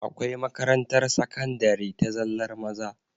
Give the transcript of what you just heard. Akwai makarantar sakandari ta zallar maza